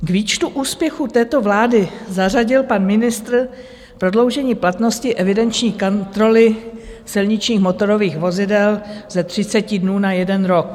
K výčtu úspěchů této vlády zařadil pan ministr prodloužení platnosti evidenční kontroly silničních motorových vozidel ze 30 dnů na jeden rok.